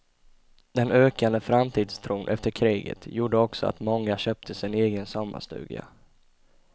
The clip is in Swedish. Den ökande framtidstron efter kriget gjorde också att många köpte sig en egen sommarstuga.